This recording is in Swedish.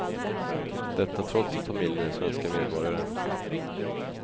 Detta trots att familjen är svenska medborgare.